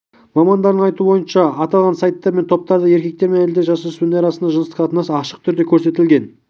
мамандардың айтуынша аталған сайттар мен топтарда еркектер мен әйелдер жасөспірімдер арасындағы жыныстық қатынас ашық түрде көрсетілген